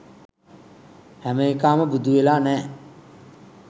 හැම එකාම බුදු වෙලා නෑ